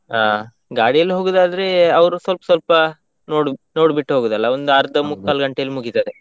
ಹ, ಗಾಡಿಯಲ್ಲಿ ಹೋಗುದಾದ್ರೆ ಅವ್ರು ಸ್ವಲ್ಪ್ ಸ್ವಲ್ಪ ನೋಡು, ನೋಡ್ಬಿಟ್ಟು ಹೋಗುದಲ್ಲ ಒಂದ್ ಆರ್ದ ಮುಕ್ಕಾಲು ಗಂಟೆಯಲ್ಲಿ ಮುಗಿತದೆ.